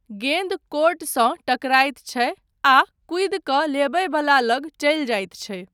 गेन्द कोर्टसँ टकराइत छै आ कूदि कऽ लेबय वला लग चलि जाइत छै।